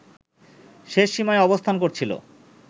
শেষ সীমায় অবস্থান করছিল